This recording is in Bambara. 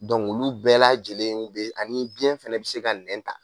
olu bɛɛ lajɛlenw be ani biyɛn fɛnɛ bi se ka nɛn ta